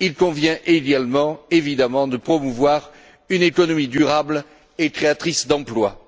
Il convient également évidemment de promouvoir une économie durable et créatrice d'emplois.